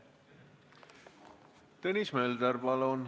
Tõnis Mölder, palun!